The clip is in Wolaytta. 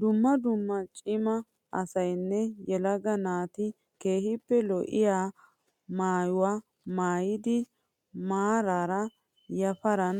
Dumma dumma cima asayinne yelaga naati keehippe lo'iyaa maayyuwaa maayyidi maaraara yaparan